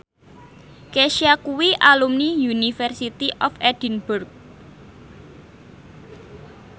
Kesha kuwi alumni University of Edinburgh